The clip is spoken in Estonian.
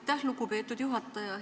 Aitäh, lugupeetud juhataja!